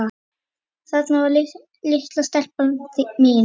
Þarna var litla stelpan mín.